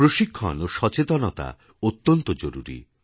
প্রশিক্ষণ ও সচেতনতা অত্যন্ত জরুরি